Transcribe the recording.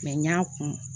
n y'a kun